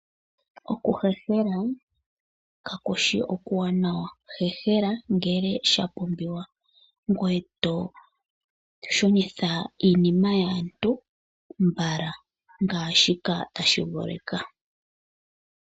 Oku hehela Kakushi okuwanawa hehela ngele sha pumbiwa ngoye to shunitha iinima yaantu mbala ngaashi tashi vuluka.